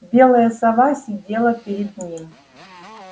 белая сова сидела перед ним